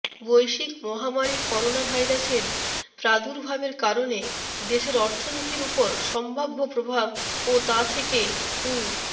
বৈশ্বিক মহামারি করোনাভাইরাসের প্রাদুর্ভাবের কারণে দেশের অর্থনীতির ওপর সম্ভাব্য প্রভাব ও তা থেকে উ